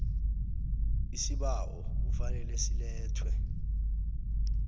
isibawo kufanele silethwe